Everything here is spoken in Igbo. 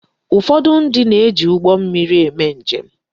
Ụfọdụ ndị na-eji ụgbọ mmiri eme njem.